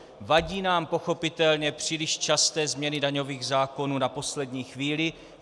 Vadí nám pochopitelně příliš časté změny daňových zákonů na poslední chvíli.